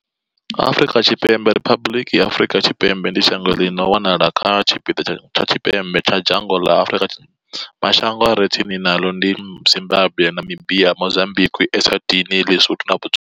Afrika Tshipembe, Riphabuḽiki ya Afrika Tshipembe, ndi shango ḽi no wanala kha tshipiḓa tsha tshipembe tsha dzhango ḽa Afrika. Mashango a re tsini naḽo ndi Zimbagwe, Namibia, Mozambikwi, Eswatini, LiSotho na Botswana.